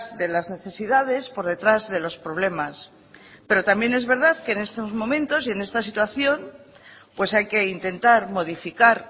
de las necesidades por detrás de los problemas pero también es verdad que en estos momentos y en esta situación pues hay que intentar modificar